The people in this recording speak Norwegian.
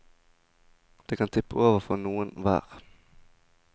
Det kan tippe over for noen hver.